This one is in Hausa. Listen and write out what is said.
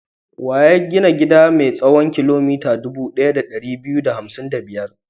Wa ya gina gida mai tsawon kilomita dubu ɗaya da ɗari biyu da hamsin da biyar?